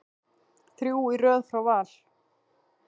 Þrjú í röð frá Val.